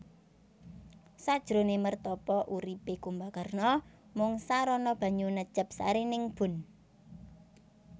Sajroné mertapa uripé Kumbakarna mung sarana banyu necep sarining bun